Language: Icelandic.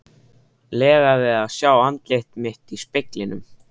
lega við að sjá andlit mitt í speglinum.